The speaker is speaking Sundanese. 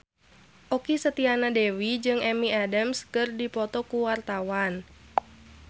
Okky Setiana Dewi jeung Amy Adams keur dipoto ku wartawan